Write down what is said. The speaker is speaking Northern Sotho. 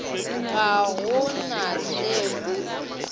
ga go na se o